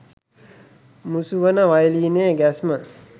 මුසු වන වයලීනයේ ගැස්ම